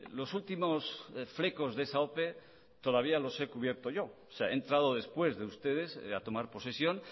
los últimos flecos de esa ope todavía los he cubierto yo o sea he entrado después de ustedes a tomar posesión